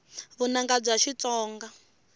vunanga bya xitsonga